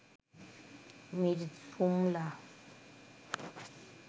Mir Jumla